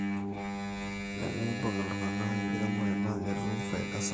teneibung iltungana enkiremore naa ketum faida sapuk